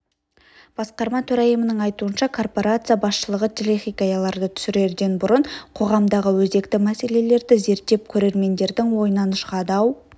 басқарма төрайымының айтуынша корпорация басшылығы телехикаяларды түсірерден бұрын қоғамдағы өзекті мәселелерді зерттеп көрермендердің ойынан шығады ау